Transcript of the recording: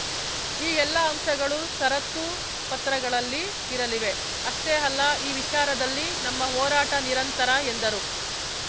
ಈ ಎಲ್ಲಾ ಅಂಶಗಳು ಷರತ್ತು ಪತ್ರಗಳಲ್ಲಿ ಇರಲಿವೆ ಅಷ್ಟೇ ಅಲ್ಲ ಈ ವಿಚಾರದಲ್ಲಿ ನಮ್ಮ ಹೋರಾಟ ನಿರಂತರ ಎಂದರು